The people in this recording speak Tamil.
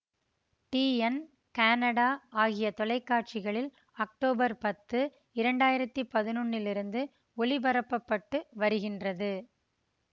டி என் கெனடா ஆகிய தொலைக்காட்சிகளில் அக்டோபர் பத்து இரண்டாயிரத்தி பதினொன்னிலிருந்து ஒளிபரப்ப பட்டு வருகின்றது